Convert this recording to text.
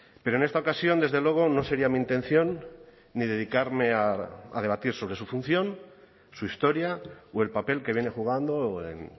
pero en esta ocasión desde luego no sería mi intención ni dedicarme a debatir sobre su función su historia o el papel que viene jugando en